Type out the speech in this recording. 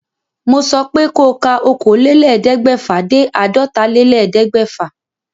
Mo sọ pé ko ka okòólélẹ́ẹ̀ẹ́dẹ́gbẹ́fà dé àádọ́tálélẹ́ẹ̀ẹ́dẹ́gbẹ́fà